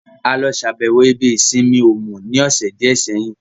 A lọ ṣàbẹ̀wọ̀ ibi ìsinmi Òmù ní ọ̀sẹ̀ díẹ̀ sẹ́yìn